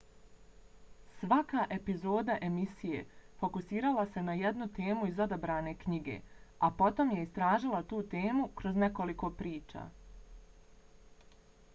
svaka epizoda emisije fokusirala se na jednu temu iz odabrane knjige a potom je istražila tu temu kroz nekoliko priča